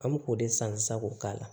An me k'o de san sisan k'o k'a la